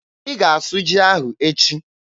Ị ga-asụ ji ahụ echi!